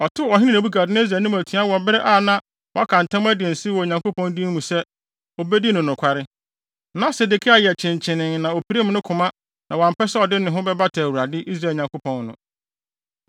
Ɔtew ɔhene Nebukadnessar anim atua wɔ bere a na waka ntam adi nsew wɔ Onyankopɔn din mu sɛ, obedi no nokware. Na Sedekia yɛ kyenkyenee na opirim ne koma na wampɛ sɛ ɔde ne ho bɛbata Awurade, Israel Nyankopɔn ho.